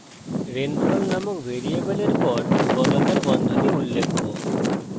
rainfall নামক ভ্যারিয়েবলের পর বর্গাকার বন্ধনী উল্লেখ্য